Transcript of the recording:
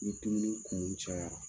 Ni dumuni kumu cayara,